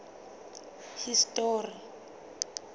history